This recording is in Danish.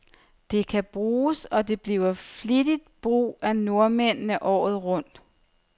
Det kan bruges, og bliver flittigt brug af nordmændene, året rundt.